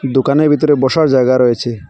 দোকানের ভিতরে বসার জায়গা রয়েছে।